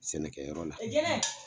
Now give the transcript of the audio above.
Sɛnɛkɛyɔrɔ la